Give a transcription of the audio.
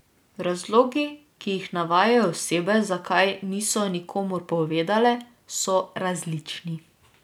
Razlogi, ki jih navajajo osebe, zakaj niso nikomur povedale, so različni.